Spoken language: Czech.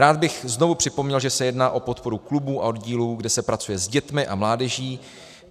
Rád bych znovu připomněl, že se jedná o podporu klubů a oddílů, kde se pracuje s dětmi a mládeží.